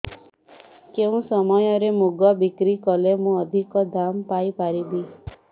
କେଉଁ ସମୟରେ ମୁଗ ବିକ୍ରି କଲେ ମୁଁ ଅଧିକ ଦାମ୍ ପାଇ ପାରିବି